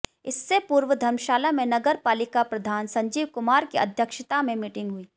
इससे पूर्व धर्मशाला में नगर पालिका प्रधान संजीव कुमार की अध्यक्षता में मीटिंग हुई